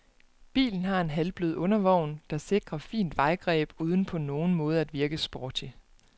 Bilen har en halvblød undervogn, der sikrer fint vejgreb uden på nogen måde at virke sporty.